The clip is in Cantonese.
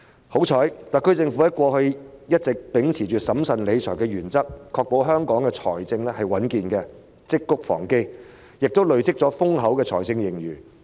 幸好特區政府過去一直秉持審慎理財的原則，確保香港財政穩健，積穀防飢亦累積了豐厚的財政盈餘。